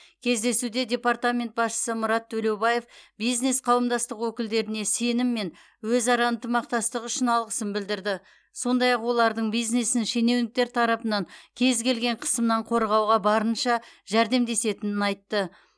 кездесуде департамент басшысы мұрат төлеубаев бизнес қауымдастық өкілдеріне сенім мен өзара ынтымақтастық үшін алғысын білдірді сондай ақ олардың бизнесін шенеуніктер тарапынан кез келген қысымнан қорғауға барынша жәрдемдесетінін айтты